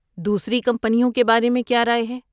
دوسری کمپنیوں کے بارے میں کیا رائے ہے؟